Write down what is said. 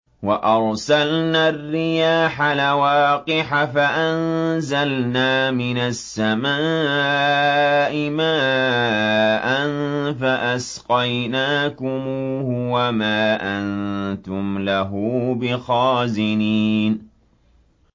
وَأَرْسَلْنَا الرِّيَاحَ لَوَاقِحَ فَأَنزَلْنَا مِنَ السَّمَاءِ مَاءً فَأَسْقَيْنَاكُمُوهُ وَمَا أَنتُمْ لَهُ بِخَازِنِينَ